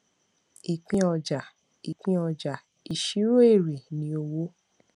ìpín ọjà ìpín ọjà ìṣirò èrè ni owó